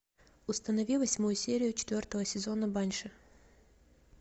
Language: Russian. установи восьмую серию четвертого сезона банши